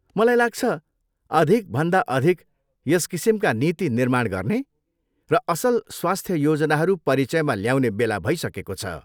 मलाई लाग्छ, अधिकभन्दा अधिक यस किसिमका नीति निर्माण गर्ने र असल स्वास्थ योजनाहरू परिचयमा ल्याउने बेला भइसकेको छ।